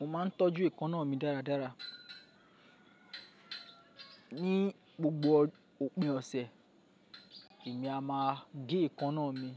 Mo maa ń tọ́jú eèkanná mi dáradára. Ní gbogbo òpin ọ̀sẹ̀, èmi a máa gé èkanná mi.